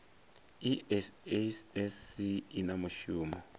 i sasc i na mushumo